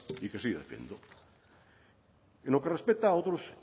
y que sigue en lo que respecta a otros